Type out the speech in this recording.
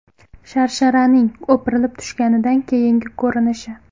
Sharsharaning o‘pirilib tushganidan keyingi ko‘rinishi.